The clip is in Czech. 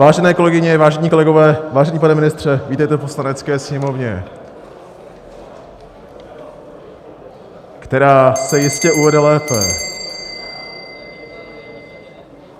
Vážené kolegyně, vážení kolegové, vážený pane ministře, vítejte v Poslanecké sněmovně... která se jistě uvede lépe...